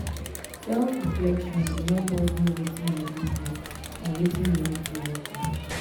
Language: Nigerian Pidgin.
self-reflection dey help us know wetin we do good and wetin we need to work on.